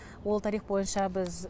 ол тарих бойынша біз